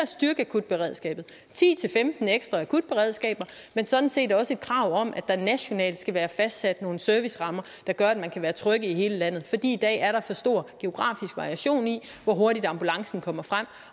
styrke akutberedskabet ti til femten ekstra akutberedskaber men sådan set også et krav om at der nationalt skal være fastsat nogle servicerammer der gør at man kan være tryg i hele landet i dag er der så stor geografisk variation i hvor hurtigt ambulancen kommer frem